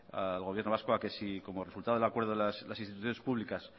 al gobierno vasco a que si como resultado del acuerdo las instituciones públicas